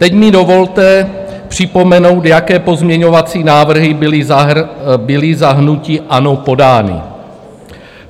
Teď mi dovolte připomenout, jaké pozměňovací návrhy byly za hnutí ANO podány.